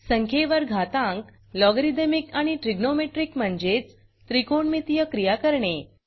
संख्येवर घातांक लॉगॅरिदमिक आणि ट्रायगोनोमेट्रिक म्हणजेच त्रिकोणमितीय क्रिया करणे